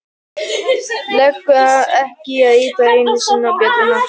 Leggur ekki í að ýta enn einu sinni á bjölluhnappinn.